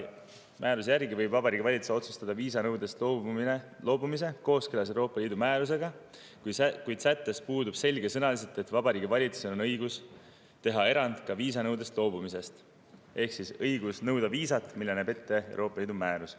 Kehtiva määruse järgi võib Vabariigi Valitsus otsustada viisanõudest loobumise kooskõlas Euroopa Liidu määrusega, kuid sättes pole selgesõnaliselt, et Vabariigi Valitsusel on õigus teha ka viisanõudest loobumise erand ehk siis õigus nõuda viisat, näe ette Euroopa Liidu määrus.